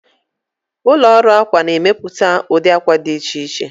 Ụlọ ọrụ akwa na-emepụta ụdị akwa dị iche iche.